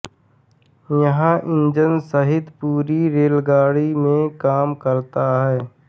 यह इंजन सहित पूरी रेलगाड़ी में काम करता है